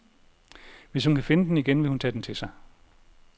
Hvis hun kan finde den igen, vil hun tage den til sig.